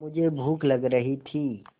मुझे भूख लग रही थी